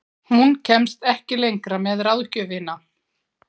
Hún kemst ekki lengra með ráðgjöfina.